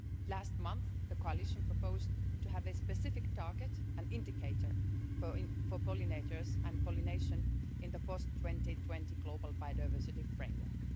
Last month the Coalition proposed to have a specific target, an indicator for pollinators and pollination, in the Post 2020 Global Biodiversity Framework.